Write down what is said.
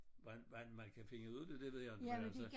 Hvor hvordan man kan finde ud af det det ved jeg inte men altså